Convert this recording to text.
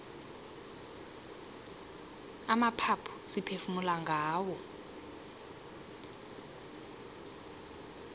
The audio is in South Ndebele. amaphaphu siphefumula ngawo